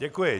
Děkuji.